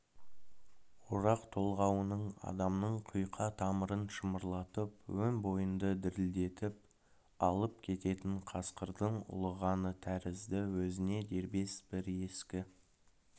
орақ толғауының адамның құйқа тамырын шымырлатып өн бойыңды дірілдетіп алып кететін қасқырдың ұлығаны тәрізді өзіне дербес бір ескі